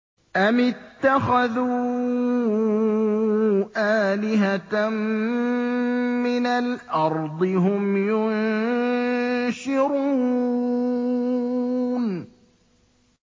أَمِ اتَّخَذُوا آلِهَةً مِّنَ الْأَرْضِ هُمْ يُنشِرُونَ